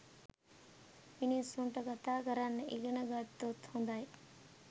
මිනිසුන්ට කතා කරන්න ඉගෙන ගත්තොත් හොඳයි.